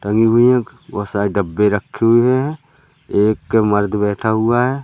टंगी हुई है बहुत सारे डब्बे रखे हुए हैं एक मर्द बैठा हुआ है।